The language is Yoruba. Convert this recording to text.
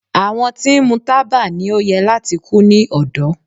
Àwọn tí ń mu taba ni o yẹ lati ku ni ọdọ